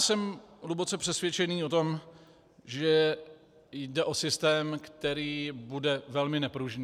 Jsem hluboce přesvědčený o tom, že jde o systém, který bude velmi nepružný.